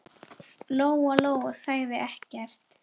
Lóa-Lóa sagði ekkert.